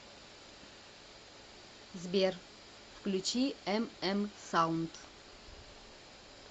сбер включи эм эм саунд